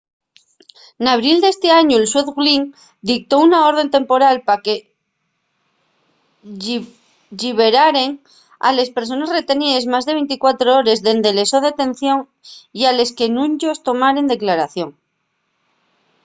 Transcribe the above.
n'abril d'esti añu el xuez glynn dictó una orde temporal pa que lliberaren a les persones reteníes más de 24 hores dende la so detención y a les que nun-yos tomaren declaración